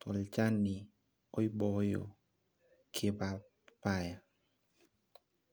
tolchani oibooyo payapayan.